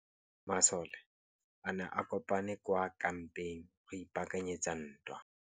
Masole a ne a kopane kwa kampeng go ipaakanyetsa ntwa.